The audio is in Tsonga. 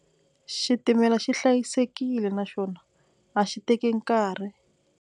Xtimela xi hlayisekile naswona a xi teki nkarhi.